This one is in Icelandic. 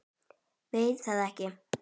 Veit það ekki.